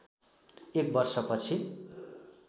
एक वर्ष पछि